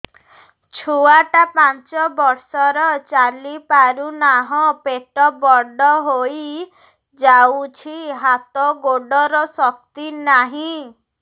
ଛୁଆଟା ପାଞ୍ଚ ବର୍ଷର ଚାଲି ପାରୁନାହଁ ପେଟ ବଡ ହୋଇ ଯାଉଛି ହାତ ଗୋଡ଼ର ଶକ୍ତି ନାହିଁ